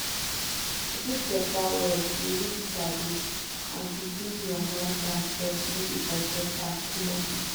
to dig better well you need sabi and to bring your mind down first make you for get am clear